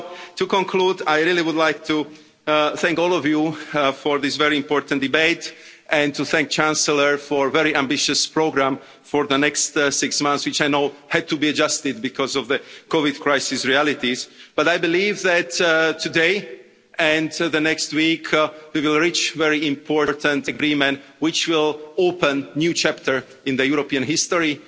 To conclude, I would like to thank all of you for this very important debate and to thank Chancellor Merkel for a very ambitious programme for the next six months, which I know had to be adjusted because of the COVID crisis realities. But I believe that today, and in the next week, we will reach a very important agreement which will open a new chapter in European history,